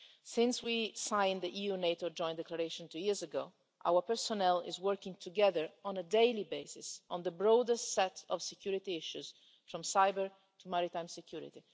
Since we signed the EU-NATO Joint Declaration two years ago, our personnel have been working together on a daily basis on the broadest set of security issues, from cybersecurity to maritime security.